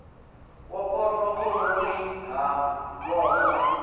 wo potwa khoroni ha vhoxwa